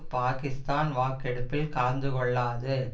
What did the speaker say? பாகிஸ்தான் வாக்கெடுப்பில் கலந்து கொள்ளாது